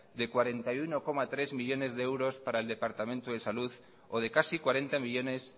y cuarenta y uno coma tres millónes de euros para el departamento de salud o de casi cuarenta millónes